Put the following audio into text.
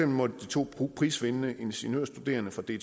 måtte de to prisvindende ingeniørstuderende fra dtu i